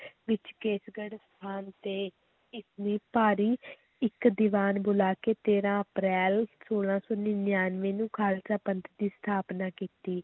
ਵਿੱਚ ਕੇਸਗੜ੍ਹ ਸਥਾਨ 'ਤੇ ਭਾਰੀ ਇੱਕ ਦੀਵਾਨ ਬੁਲਾ ਕੇ ਤੇਰਾਂ ਅਪ੍ਰੈਲ, ਸੋਲਾਂ ਸੌ ਨੜ੍ਹਿਨਵੇਂ ਨੂੰ ਖ਼ਾਲਸਾ ਪੰਥ ਦੀ ਸਥਾਪਨਾ ਕੀਤੀ।